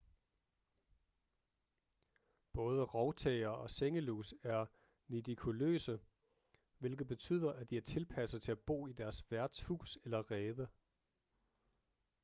både rovtæger og sengelus er nidikoløse hvilket betyder at de er tilpasset til at bo i deres værts hus eller rede